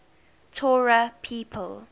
torah people